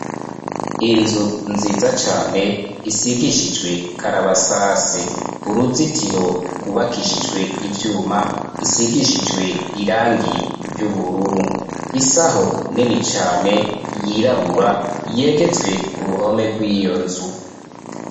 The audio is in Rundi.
Inzu nziza cane isigishijwe karabasase uruzitiro rwubakishijwe ivyuma isigishijwe irangi ry'ubururu isaho nini cane yirabura yegetswe ku ruhome rw'iyo nzu.